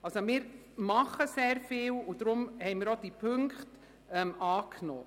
Wir tun also sehr viel, und deshalb haben wir auch drei Punkte angenommen.